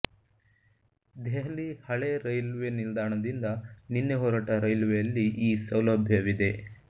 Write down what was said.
ದೆಹಲಿ ಹಳೆ ರೈಲ್ವೆ ನಿಲ್ದಾಣದಿಂದ ನಿನ್ನೆ ಹೊರಟ ರೈಲ್ವೆಯಲ್ಲಿ ಈ ಸೌಲಭ್ಯವಿದೆ